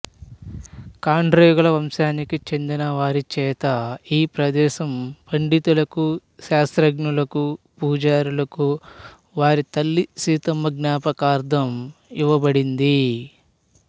కాండ్రేగుల వంశానికి చెందిన వారిచేత ఈ ప్రదేశం పండితులకు శాస్త్రజ్ఞులకు పూజారులకు వారి తల్లి సీతమ్మ జ్ఞాపకార్థం ఇవ్వబడింది